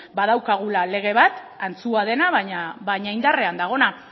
badaukagula lege bat antzua dena baina indarrean dagoena